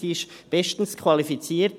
Sie ist bestens qualifiziert.